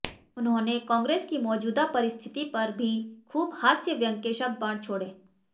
उन्होंने कांग्रेस की मौजूदा परिस्थिति पर भी खूब हास्य व्यंग्य के शब्द बाण छोड़े